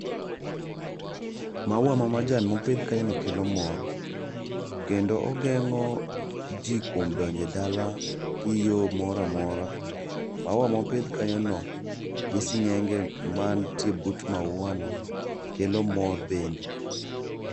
Mauwa mamajan mopidh kanyono kelo mor. Kendo ogeng'o ji kuom donjo e dala gi yo moro amora. Mauwa mopidh kanyono gi sing'enge mantie but mauwani, kelo mor bende.